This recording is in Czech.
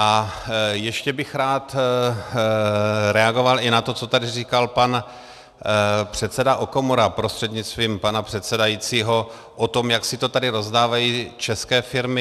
A ještě bych rád reagoval i na to, co tady říkal pan předseda Okamura prostřednictvím pana předsedajícího, o tom, jak si to tady rozdávají české firmy.